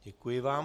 Děkuji vám.